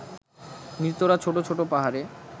মৃতরা ছোট ছোট পাহাড়ে